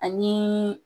Ani